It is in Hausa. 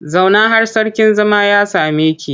Zauna har sarkin zama ya same ki!